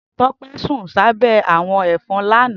Tope sún sàbè àwọ̀n efòn làná